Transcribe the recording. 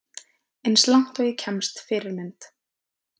Eins og langt og ég kemst Fyrirmynd?